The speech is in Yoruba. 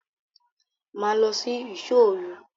Ma lọ sí ìṣò òru!